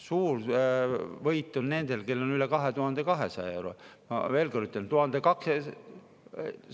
Suur võit on nendel, kellel on üle 2200 euro.